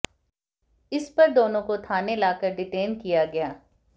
इस पर दोनों को थाने लाकर डिटेन किया गया